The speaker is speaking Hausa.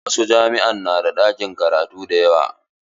Wasu jami'a na da ɗakin karatu da yawa.